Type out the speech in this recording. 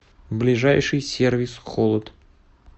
ближайший сервис холод